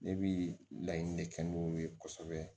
Ne bi laɲini de kɛ n'u ye kosɛbɛ